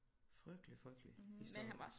Frygtelig frygtelig historie